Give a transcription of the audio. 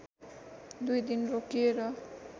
दुई दिन रोकिएर